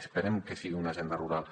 esperem que sigui una agenda rural